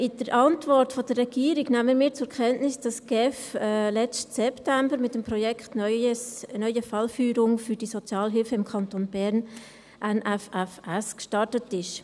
In der Antwort der Regierung nehmen wir zur Kenntnis, dass die GSI im letzten September mit dem Projekt «Neues Fallführungssystem für die Sozialhilfe im Kanton Bern (NFFS)» gestartet ist.